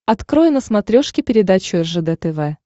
открой на смотрешке передачу ржд тв